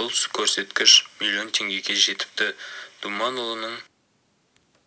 бұл көрсеткіш миллион теңгеге жетіпті думанұлының